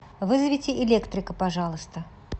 вызовите электрика пожалуйста